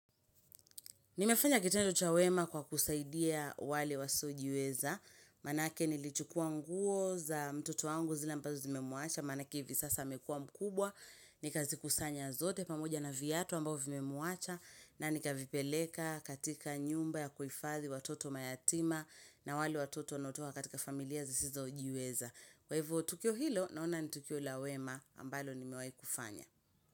Nimefanya kitendo cha wema kwa kusaidia wale wasiojiweza, maanake nilichukua nguo za mtoto wangu zile ambazo zimemuacha, maanake hivi sasa amekua mkubwa, nikazikusanya zote pamoja na viatu ambao vimemuacha, na nikavipeleka katika nyumba ya kuhifadhi watoto mayatima na wale watoto wanaotoka katika familia zisizojiweza. Kwa hivyo, tukio hilo, naona ni tukio la wema ambalo nimewahi kufanya.